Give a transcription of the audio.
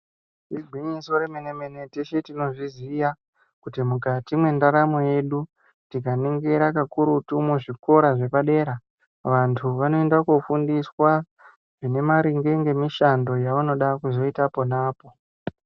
Igwinyiso remene mene teshe tinozviiziya kuti mukati mwendaramo yedu tika ningira kakurutu muzvikora zvepadera vantu vanoenda kofundiswa zvine maringe ngemishando yavanoda kuzoita ponapo.